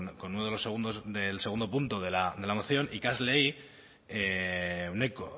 con el segundo punto de la moción ikasleen